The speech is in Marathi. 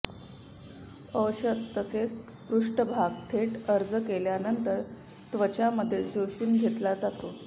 औषध तसेच पृष्ठभाग थेट अर्ज केल्यानंतर त्वचा मध्ये शोषून घेतला जातो